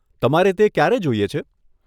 તમારે તે ક્યારે જોઈએ છે?